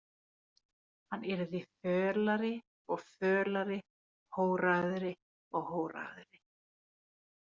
Hann yrði fölari og fölari, horaðri og horaðri.